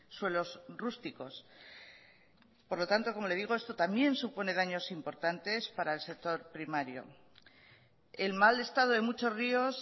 suelos rústicos por lo tanto como le digo esto también supone daños importantes para el sector primario el mal estado de muchos ríos